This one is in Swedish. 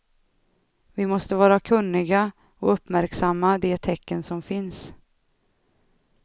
Vi måste vara kunniga, och uppmärksamma de tecken som finns.